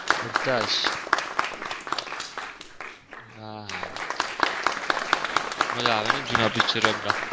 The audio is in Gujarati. બધાજ હા મજા આવે નઈ જુના picture અત્યરે.